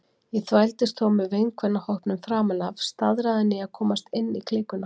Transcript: Ég þvældist þó með vinkvennahópnum framan af, staðráðin í að komast inn í klíkuna.